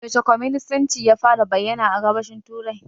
Yaushe kwaminisanci ya fara bayyana a Gabashin Turai?